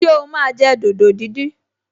Ṣé o máa jẹ dòdò díndín?